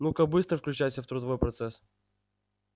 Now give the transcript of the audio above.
ну-ка быстро включайся в трудовой процесс